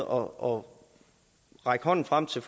og række hånden frem til